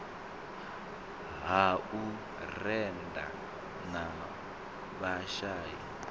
ha u rennda ha vhashai